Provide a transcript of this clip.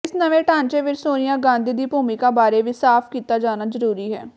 ਇਸ ਨਵੇਂ ਢਾਂਚੇ ਵਿਚ ਸੋਨੀਆ ਗਾਂਧੀ ਦੀ ਭੂਮਿਕਾ ਬਾਰੇ ਵੀ ਸਾਫ਼ ਕੀਤਾ ਜਾਣਾ ਜ਼ਰੂਰੀ ਹੈ